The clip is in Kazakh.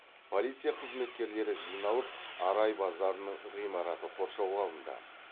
полиция қызметкерлері жиналып арай базарының ғимараты қоршауға алынды